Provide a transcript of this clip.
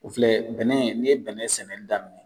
O filɛ bɛnɛ ni ye bɛnɛ sɛnɛ ni daminɛ.